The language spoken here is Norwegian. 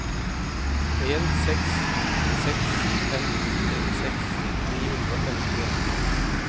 en seks seks fem trettiseks ni hundre og femtien